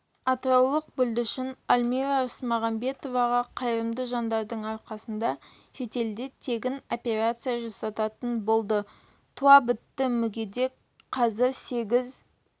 атыраулық бүлдіршін альмира рысмағамбетоваға қайырымды жандардың арқасында шетелде тегін операция жасалатын болды туабітті мүгедек қазір сегіз